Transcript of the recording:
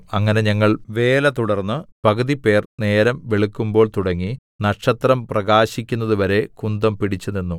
അങ്ങനെ ഞങ്ങൾ വേല തുടർന്ന് പകുതിപേർ നേരം വെളുക്കുമ്പോൾതുടങ്ങി നക്ഷത്രം പ്രകാശിക്കുന്നതുവരെ കുന്തം പിടിച്ചുനിന്നു